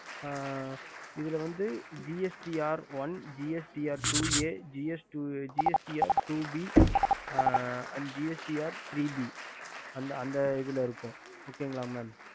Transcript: இதுல வந்து gst r one str two a gst r two b and gst there b